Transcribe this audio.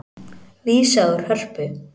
Vísað úr Hörpu